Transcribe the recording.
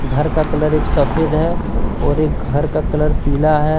घर का कलर एक सफेद है और एक घर का कलर पीला है।